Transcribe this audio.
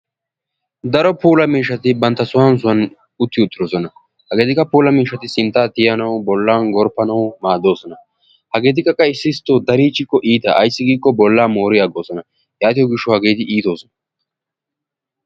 Daro puula miishshati bantta sohuwan sohuwan utti uttidosona. Hageetikka puula mishshati sinttaa tiyanawu bolaa gorpanawu maadosona. Hageetikka qa issi issito darichikko bolaa moorosona, yaatikko hageeti iittosona.